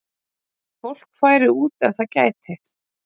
Fólk færi út ef það gæti